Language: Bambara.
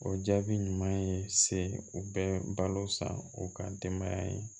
O jaabi ɲuman ye se u bɛ balo san u ka denbaya ye